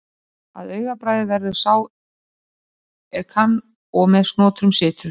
Að augabragði verður sá er ekki kann og með snotrum situr.